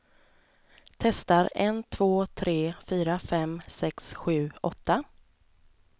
Testar en två tre fyra fem sex sju åtta.